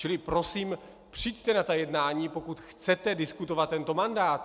Čili prosím, přijďte na ta jednání, pokud chcete diskutovat tento mandát.